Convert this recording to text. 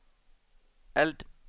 eld